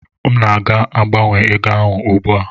M na-aga gbanwee ego ahụ ugbu a.